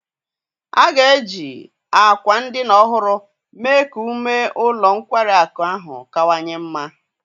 A ga-eji àkwà ndina ọhụrụ mee ka ume ụlọ nkwari akụ ahụ kawanye mma.